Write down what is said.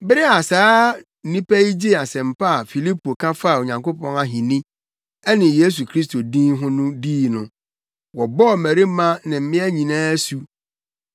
Bere a saa nnipa yi gyee asɛmpa a Filipo ka faa Onyankopɔn ahenni ne Yesu Kristo din no ho dii no, wɔbɔɔ mmarima ne mmea nyinaa asu.